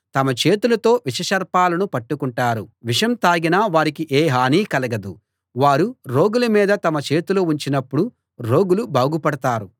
తమ చేతులతో విషసర్పాలను పట్టుకుంటారు విషం తాగినా వారికి ఏ హానీ కలగదు వారు రోగుల మీద తమ చేతులు ఉంచినప్పుడు రోగులు బాగుపడతారు